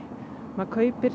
maður kaupir